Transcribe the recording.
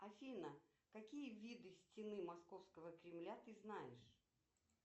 афина какие виды стены московского кремля ты знаешь